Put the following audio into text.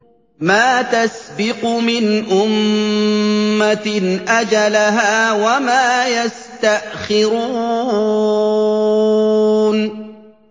مَّا تَسْبِقُ مِنْ أُمَّةٍ أَجَلَهَا وَمَا يَسْتَأْخِرُونَ